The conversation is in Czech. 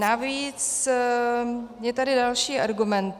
Navíc je tady další argument.